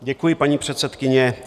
Děkuji, paní předsedkyně.